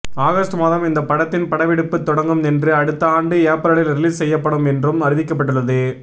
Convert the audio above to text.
August மாதம் இந்த படத்தின் படப்பிடிப்பு தொடங்கும் என்றும் அடுத்த ஆண்டு ஏப்ரலில் ரிலீஸ் செய்யப்படும் என்றும் அறிவிக்கப்பட்டுள்ளது